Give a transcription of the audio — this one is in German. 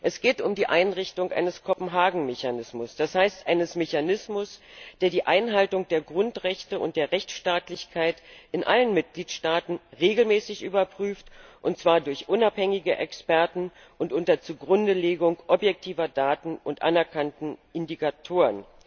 Es geht um die Einrichtung eines Kopenhagen Mechanismus, das heißt, eines Mechanismus, der die Einhaltung der Grundrechte und der Rechtsstaatlichkeit in allen Mitgliedstaaten regelmäßig überprüft, und zwar durch unabhängige Experten und unter Zugrundelegung objektiver Daten und anerkannter Indikatoren.